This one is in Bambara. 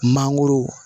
Mangoro